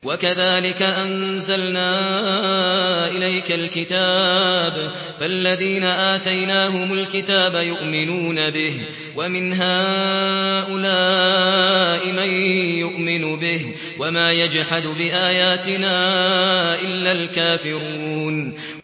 وَكَذَٰلِكَ أَنزَلْنَا إِلَيْكَ الْكِتَابَ ۚ فَالَّذِينَ آتَيْنَاهُمُ الْكِتَابَ يُؤْمِنُونَ بِهِ ۖ وَمِنْ هَٰؤُلَاءِ مَن يُؤْمِنُ بِهِ ۚ وَمَا يَجْحَدُ بِآيَاتِنَا إِلَّا الْكَافِرُونَ